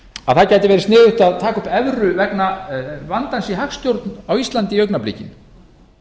að það gæti verið sniðugt að taka upp evru vegna vandans í hagstjórn á íslandi í augnablikinu